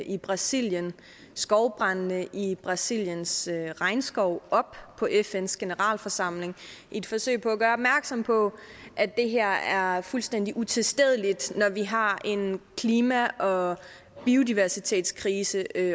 i brasilien og skovbrandene i brasiliens regnskov op på fns generalforsamling i et forsøg på at gøre opmærksom på at det her er fuldstændig utilstedeligt når vi har en klima og biodiversitetskrise